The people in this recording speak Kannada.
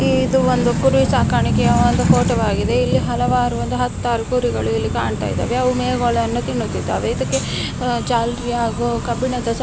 ಇದು ಒಂದು ಕುರಿ ಸಾಕಾಣಿಕೆಯ ಒಂದು ಫೋಟೋವಾಗಿದೆ ಇಲ್ಲಿ ಹಲವಾರು ಒಂದು ಹತ್ತಾರು ಕುರಿಗಳು ಇಲ್ಲಿ ಕಾಣ್ತಾ ಇದ್ದಾವೆ ಅವು ಮೇವುಗಳನ್ನು ತಿನ್ನುತ್ತಾ ಇದ್ದಾವೆ ಅದಕ್ಕೆ ಜಾಲರಿಯನ್ನು ಹಾಗು ಕಬ್ಬಿಣದ ಸ--